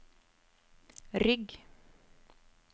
rygg